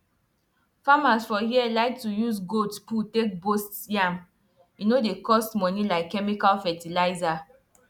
farmers for here like to use goat poo take boost yam e no dey cost money like chemical fertilizer